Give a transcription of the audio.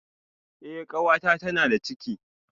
Eh kanwata tana da ciki